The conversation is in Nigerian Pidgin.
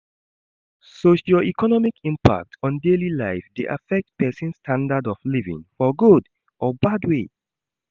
Socio-economic impact on daily life de affect persin standard of living for good or bad way